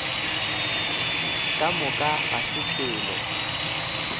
ka moka ga se selo